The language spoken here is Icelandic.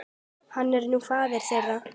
Hann er nú faðir þeirra.